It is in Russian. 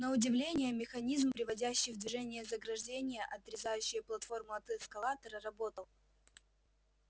на удивление механизм приводящий в движение заграждение отрезающее платформу от эскалатора работал